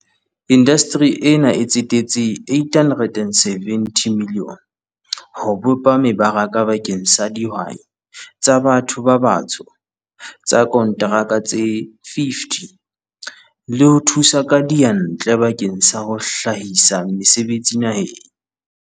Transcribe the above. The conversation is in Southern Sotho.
"Indasteri ena e tsetetse R870 milione ho bopa meba raka bakeng sa dihwai tsa ba tho ba batsho tsa konteraka tse 50 le ho thusa ka diyantle bakeng sa ho hlahisa mese betsi naheng."